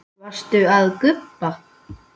Varstu að gubba?